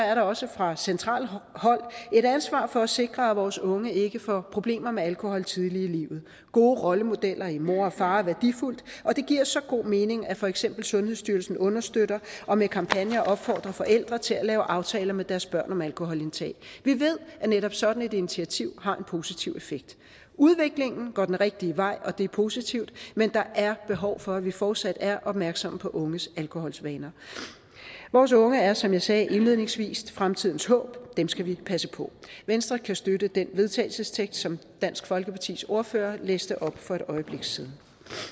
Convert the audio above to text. er der også fra centralt hold et ansvar for at sikre at vores unge ikke får problemer med alkohol tidligt i livet gode rollemodeller i mor og far er værdifuldt og det giver så god mening at for eksempel sundhedsstyrelsen understøtter og med kampagner opfordrer forældre til at lave aftaler med deres børn om alkoholindtag vi ved at netop sådan et initiativ har en positiv effekt udviklingen går den rigtige vej og det er positivt men der er behov for at vi fortsat er opmærksomme på unges alkoholvaner vores unge er som jeg sagde indledningsvis fremtidens håb og dem skal vi passe på venstre kan støtte den vedtagelsestekst som dansk folkepartis ordfører læste op for et øjeblik siden